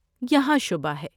یہاں شبہ ہے۔